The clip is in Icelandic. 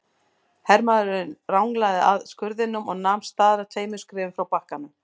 Hermaðurinn ranglaði að skurðinum og nam staðar tveimur skrefum frá bakkanum.